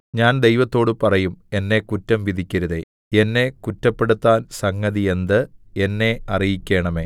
ഞാൻ ദൈവത്തോട് പറയും എന്നെ കുറ്റം വിധിക്കരുതേ എന്നെ കുറ്റപ്പെടുത്താൻ സംഗതി എന്ത് എന്നെ അറിയിക്കണമേ